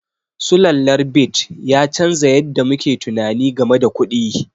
Sulallar bit ya canza yadda muke tunani game da kuɗi.